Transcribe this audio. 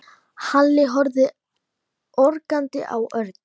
Halli horfði ögrandi á Örn.